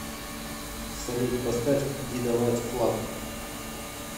салют поставь дидо вайт флаг